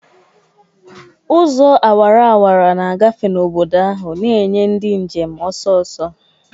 Ụzọ awara awara na-agafe n'obodo ahụ, na-enye ndị njem ọsọ ọsọ.